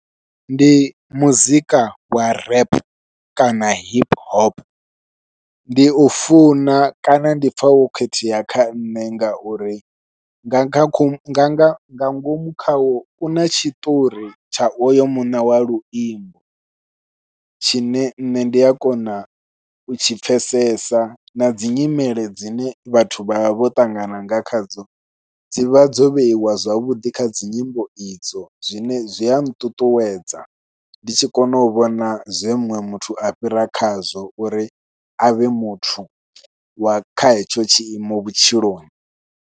Ndi muzika wa rap kana hip hop, ndi u funa kana ndi pfha wo khethea kha nṋe ngauri nga nga nga nga nga ngomu khawo u na tshiṱori tsha oyo muṋe wa luimbo tshine nṋe ndi a kona u tshi pfhesesa nadzi nyimele dzine vhathu vha vha vho ṱangana nga khadzo dzivha dzo vheiwa zwavhuḓi kha dzi nyimbo idzo. Zwine zwi a nṱuṱuwedza ndi tshi kona u vhona zwe muṅwe muthu a fhira khazwo uri a vhe muthu wa kha hetsho tshiimo vhutshiloni.